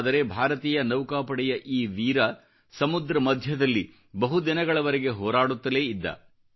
ಆದರೆ ಭಾರತೀಯ ನೌಕಾಪಡೆಯ ಈ ವೀರ ಸಮುದ್ರ ಮಧ್ಯದಲ್ಲಿ ಬಹು ದಿನಗಳವರೆಗೆ ಹೋರಾಡುತ್ತಲೇ ಇದ್ದ